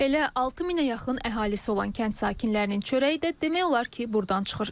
Elə 6000-ə yaxın əhalisi olan kənd sakinlərinin çörəyi də demək olar ki, burdan çıxır.